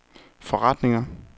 forretninger